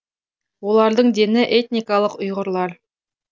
олардың дені этникалық ұйғырлар